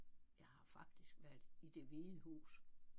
Jeg har faktisk været i Det Hvide Hus